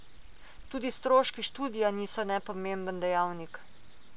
Tudi stroški študija niso nepomemben dejavnik.